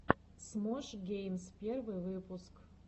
смош геймс первый выпуск